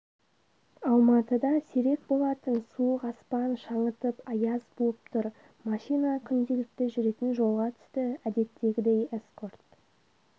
алматыда сирек болатын суық аспан шаңытып аяз буып тұр машина күнделікті жүретін жолға түсті әдеттегідей эскорт